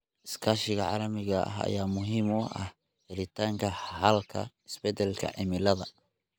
Iskaashiga caalamiga ah ayaa muhiim u ah helitaanka xalka isbedelka cimilada.